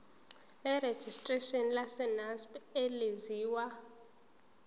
lerejistreshini lesacnasp elaziwa